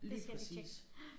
Lige præcis